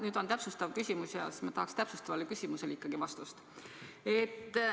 Nüüd on mul täpsustav küsimus ja ma tahan sellele täpsustavale küsimusele ikkagi vastust.